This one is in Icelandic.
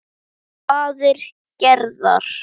Vatnið var ískalt og tært.